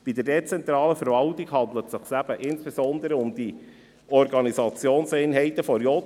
Bei der dezentralen Verwaltung handelt es sich eben insbesondere um die Organisationseinheiten der JGK.